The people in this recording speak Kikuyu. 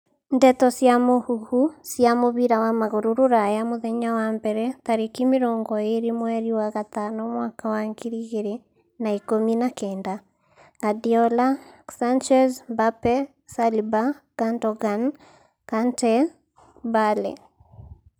Ndeto cia mũhuhu cia mũbira wa magũrũ Rũraya mũthenya wa mbere tarĩki mĩrongo ĩrĩ mweri wa gatano mwaka wa ngiri igĩrĩ na ikumi na kenda: Guardiola, Sanchez, Mbappe, Saliba, Gundogan, Kante, Bale